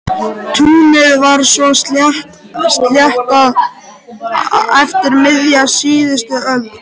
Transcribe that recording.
Túnið var svo sléttað eftir miðja síðustu öld.